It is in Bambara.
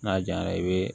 N'a jaɲara i bɛ